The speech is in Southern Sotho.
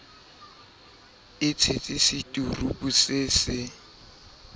e tshetse seturupu se se